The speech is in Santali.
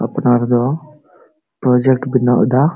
ᱟᱯᱱᱟᱨ ᱫᱚ ᱯᱨᱡᱮᱠᱴ ᱵᱮᱱᱟᱣ ᱫᱟ᱾